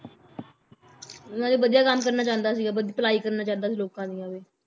ਨਾਲੇ ਵਧੀਆ ਕੰਮ ਕਰਨਾ ਚਾਹੁੰਦਾ ਸੀਗਾ ਉਹ, ਬਦ~ ਭਲਾਈ ਕਰਨਾ ਚਾਹੰਦਾ ਸੀ ਲੋਕਾਂ ਦੀਆਂ ਵੀ